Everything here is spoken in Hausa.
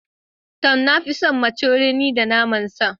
To, na fi son macaroni da naman sa.